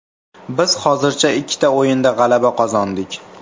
Biz hozircha ikkita o‘yinda g‘alaba qozondik.